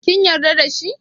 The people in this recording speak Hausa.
Kin yarda da shi?